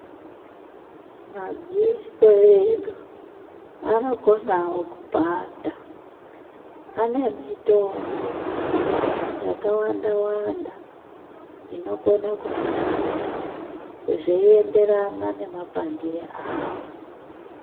Madziso edu anokonawo kupanda ane mitombo yakawanda wanda inokona kumarapa zveienderana nemapandire awo.